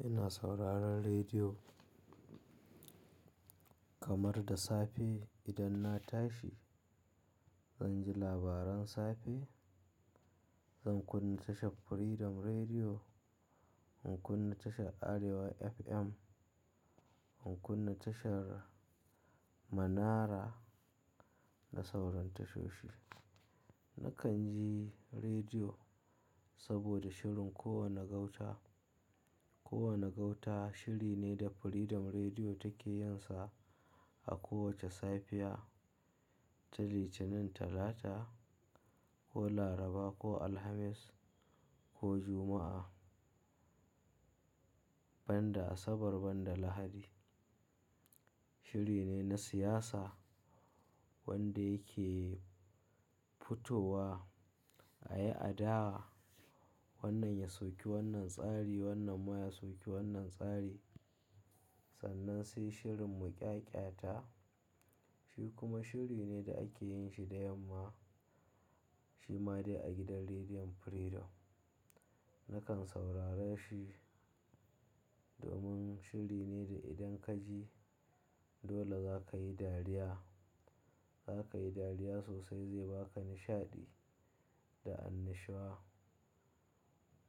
Ina sauraron rediyo kamar da safe idan na tashi. Zan ji labaran safe, zan kunna tashar Freedom Rediyo, in kunna tashar Arewa FM, in kunna tashar Manara da sauran tashoshi. Nakan ji rediyo saboda shirin kowane gauta. Kowane gauta shiri ne da Freedom Rediyo take yinsa a kowace safiya ta Litinin, Talata ko Laraba ko Alhamis ko Juma'a, ban da Asabar ban da Lahadi. Shiri ne na siyasa wanda yake futowa a yi adawa wannan ya soki wannan tsari, wannan ma ya soki wannan tsari. Sannan sai shirin muƙyaƙyata shi kuma shiri ne da ake yin shi da yamma, shi ma dai a gidan Rediyon Freedom. Nakan saurara shi domin shiri ne da idan ka ji dole za ka yi dariya. Za ka yi dariya sosai zai ba ka nishaɗi da annashuwa.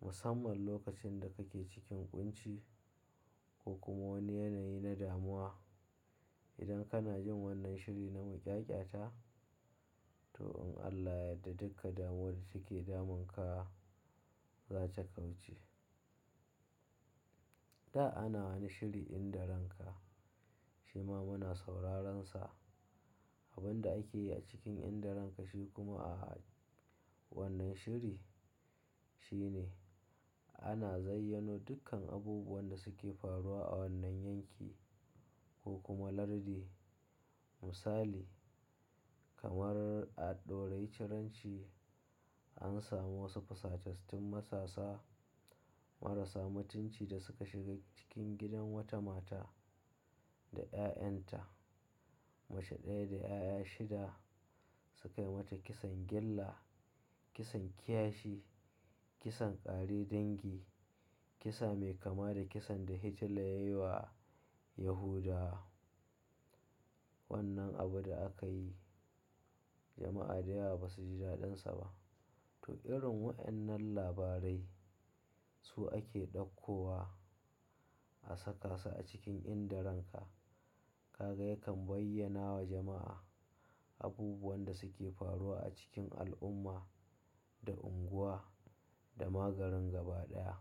Musamman lokacin da kake cikin ƙunci ko kuma wani yanayi na damuwa. Idan kana jin wannan shiri na muƙyaƙyata, to in Allah yadda duka damuwar da take damunka za ta kauce. Da ana wani shiri Inda Ranka shi ma muna sauraron sa. Abin da ake yi a cikin Inda Ranka shi kuma a wannan shiri shine ana zayyanu dukkan abubuwan da suke faruwa a wannan yanki ko kuma lardi. Misali kamar a Ɗorayi, Ciranci an samu wasu fusatastun masasa marasa mutunci da suka shiga cikin gidan wata mata da 'ya'yanta. Mace ɗaya da 'ya'ya shida suka yi mata kisan gyalla, kisan kashi, kisan ƙare dangi, kisa mai kama da kisan da Hitler ya yi wa Yahuda. Wannan abu da aka yi jama'a da yawa ba su ji daɗansa ba. To irin waɗannan labarai su ake ɗauko wa a saka su a cikin Inda Ranka. Kaga yakan bayyana wa jama'a abubuwan da suke faruwa a cikin al'umma da unguwa da ma garin gaba ɗaya.